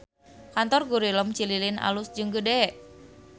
Kantor Gurilem Cililin alus jeung gede